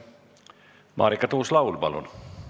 Marika Tuus-Laul, palun!